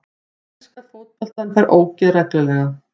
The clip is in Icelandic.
Ég elska fótbolta en fæ ógeð reglulega.